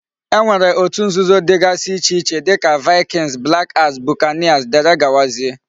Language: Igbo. E nwere otu nzuzo digasi iche iche dika Vikings, black axe, Buccaneers wdgz.